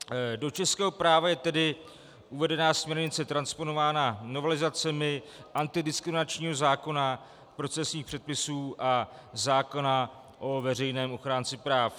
Do českého práva je tedy uvedená směrnice transponována novelizacemi antidiskriminačního zákona, procesních předpisů a zákona o veřejném ochránci práv.